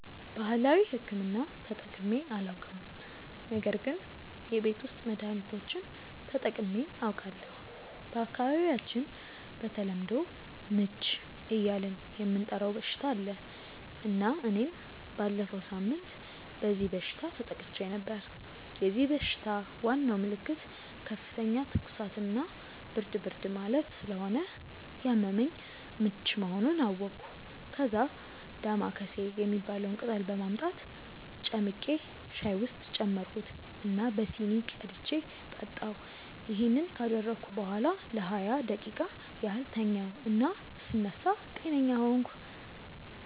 ባህላዊ ሕክምና ተጠቅሜ አላውቅም ነገር ግን የቤት ውስጥ መድሀኒቶችን ተጠቅሜ አውቃለሁ። በአካባቢያቸው በተለምዶ "ምች" እያልን የምንጠራው በሽታ አለ እና እኔም ባለፈው ሳምንት በዚህ በሽታ ተጠቅቼ ነበር። የዚህ በሽታ ዋናው ምልክት ከፍተኛ ትኩሳት እና ብርድ ብርድ ማለት ስለሆነ ያመመኝ ምች መሆኑን አወቅኩ። ከዛ "ዳማከሴ" የሚባለውን ቅጠል በማምጣት ጨምቄ ሻይ ውስጥ ጨመርኩት እና በሲኒ ቀድቼ ጠጣሁ። ይሄን ካደረግኩ በኋላ ለሃያ ደቂቃ ያህል ተኛሁ እና ስነሳ ጤነኛ ሆንኩ።